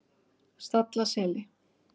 Stallaseli